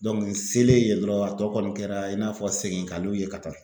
Dɔnku n selen yen dɔrɔn a tɔ kɔni kɛra i n'a fɔ seginkaluw ye ka taa